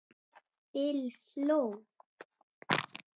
Bill hló.